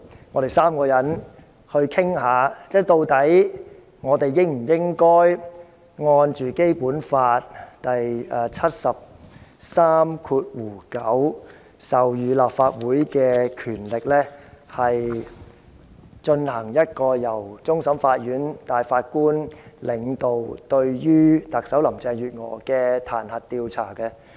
我們3個人在此討論，究竟我們是否應根據《基本法》第七十三條第九項，授權立法會進行一項由終審法院首席法官領導，有關彈劾特首林鄭月娥的調查。